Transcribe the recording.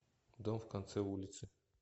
дом в конце улицы